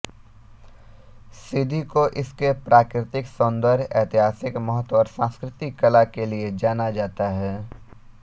सीधी को इसके प्राकृतिक सौंदर्य ऐतिहासिक महत्व और सांस्कृतिक कला के लिए जाना जाता है